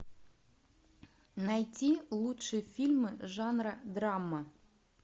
найти лучшие фильмы жанра драма